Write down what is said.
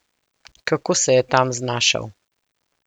Kako se je tam znašel?